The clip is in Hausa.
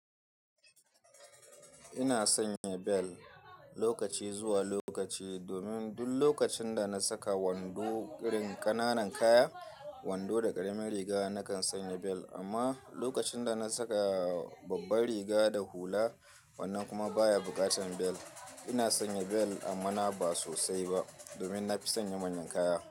Ina sanya bel lokaci zuwa lokaci domin duk lokacin da na saka wando irin ƙananan kaya, wando da ƙaramin riga nakan sanya bel amma lokacin da na saka babbar riga da hula wannan kuma baya buƙatar bel. Ina sanya bel amma ba sosai ba domin na fi sanya manyan kaya.